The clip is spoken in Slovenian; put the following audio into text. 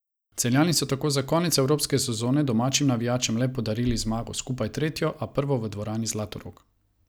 Celjani so tako za konec evropske sezone domačim navijačem le podarili zmago, skupaj tretjo, a prvo v dvorani Zlatorog.